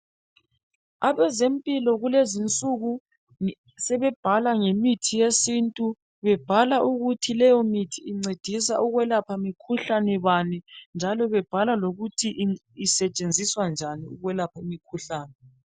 Abezempilo kulezinsuku sebebhala ngemithi yesintu, bebhala ukuthi lowomuthi incedisa ukwelapha mkhuhlane bani njalo bebhala lokuthi isetshenziswa njani ukwelapha imkhuhlane